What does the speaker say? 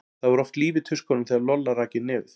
Það var oft líf í tuskunum þegar Lolla rak inn nefið.